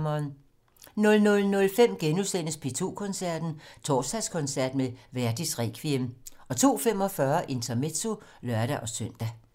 00:05: P2 Koncerten - Torsdagskoncert med Verdis Requiem * 02:45: Intermezzo (lør-søn)